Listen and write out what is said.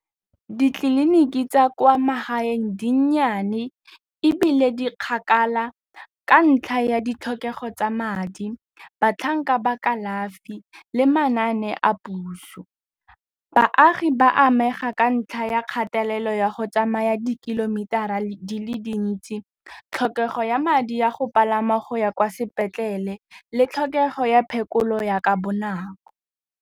Ditleliniki tsa kwa magaeng di nnyane ebile di kgakala ka ntlha ya ditlhokego tsa madi, batlhankela ba kalafi le manane a puso. Baagi ba amega ka ntlha ya kgatelelo ya go tsamaya di-kilometer-ra di le dintsi, tlhokego ya madi ya go palama go ya kwa sepetlele le tlhokego ya phekolo ya ka bonako.